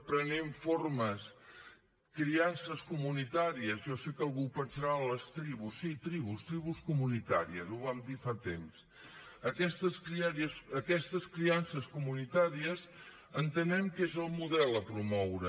prenent forma criances comunitàries jo sé que algú pensarà les tribus sí tribus tribus comunitàries ho vam dir fa temps aquestes criances comunitàries entenem que és el model a promoure